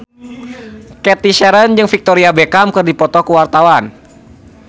Cathy Sharon jeung Victoria Beckham keur dipoto ku wartawan